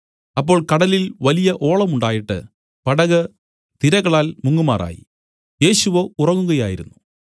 അപ്പോൾ കടലിൽ വലിയ ഓളം ഉണ്ടായിട്ട് പടക് തിരകളാൽ മുങ്ങുമാറായി യേശുവോ ഉറങ്ങുകയായിരുന്നു